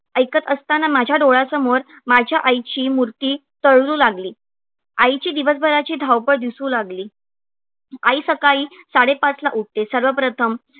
ऐकत असताना माझ्या डोळ्यासमोर माझ्या आईची मूर्ती तरळू लागली. आईची दिवसभराची धावपळ दिसू लागली. आई सकाळी साडेपाचला उठते. सर्वप्रथम